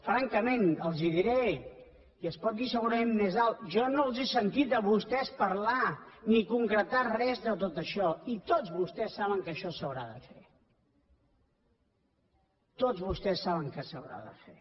francament els diré i es pot dir segurament més alt que jo no els he sentit a vostès parlar ni concretar res de tot això i tots vostès saben que això s’haurà de fer tots vostès saben que s’haurà de fer